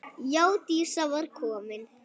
Já, Dísa var komin.